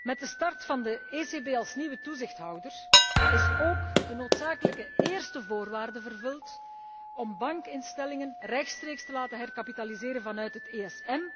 Met de start van de ECB als nieuwe toezichthouder is ook een noodzakelijke eerste voorwaarde vervuld om bankinstellingen rechtstreeks te laten herkapitaliseren vanuit het ESM.